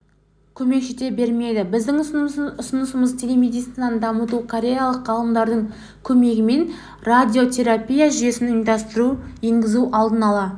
көмек жете бермейді біздің ұсынысымыз телемедицинаны дамыту кореялық ғалымдардың көмегімен радиотерапия жүйесін ұйымдастыру енгізу алдын-ала